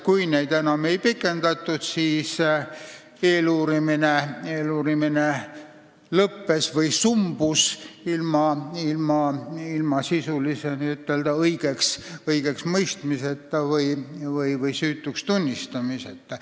Kui tähtaegu enam ei pikendatud, siis eeluurimine lõppes või sumbus ilma sisulise õigeksmõistmiseta või süütuks tunnistamiseta.